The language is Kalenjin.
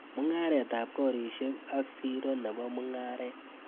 Mung'aretap koreshek ak siro nebo mung'aret.